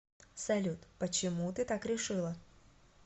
салют почему ты так решила